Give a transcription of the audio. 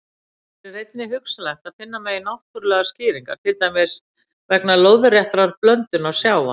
Hér er einnig hugsanlegt að finna megi náttúrlegar skýringar, til dæmis vegna lóðréttrar blöndunar sjávar.